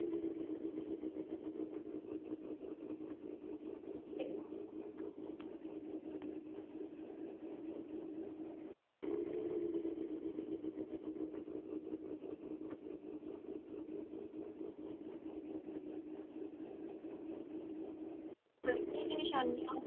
ਹਲਕੀ ਜੀ ਨਿਸ਼ਾਨੀਆਂ